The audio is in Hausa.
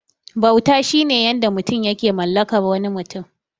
Bauta shine yanayin da mutum yake mallakar wani mutum.